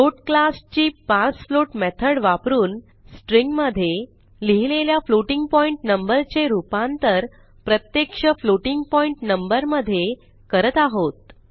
float क्लासची parse float method वापरून string मधे लिहिलेल्या फ्लोटिंग पॉइंट नंबर चे रूपांतर प्रत्यक्ष फ्लोटिंग पॉइंट नंबर मधे करत आहोत